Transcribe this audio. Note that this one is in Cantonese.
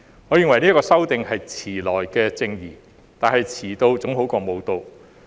我認為這次修訂是遲來的正義，但遲到總比不到好。